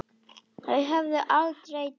Þau höfðu aldrei deilt.